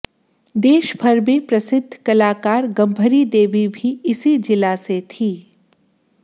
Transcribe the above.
देश भर में प्रसिद्ध कलाकार गंभरी देवी भी इसी जिला से थीं